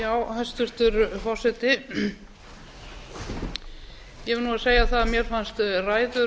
forseti ég verð nú að segja það mér fannst ræður